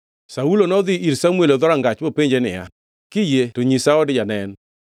Saulo nodhi ir Samuel e dhorangach mopenje niya, “Kiyie to nyisa od janen?”